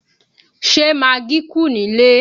Ṣé magí kù nílé?